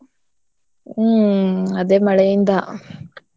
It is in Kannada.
ಹ್ಮ್ ಅದೇ ಮಳೆಯಿಂದ.